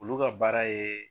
Olu ka baara ye